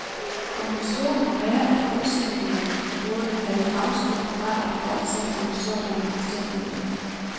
Konklusionen må være, at udsendingene burde have afstået fra at fortsætte under sådanne omstændigheder.